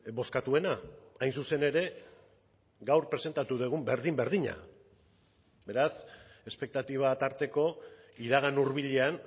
bozkatuena hain zuzen ere gaur presentatu dugun berdin berdina beraz espektatiba tarteko iragan hurbilean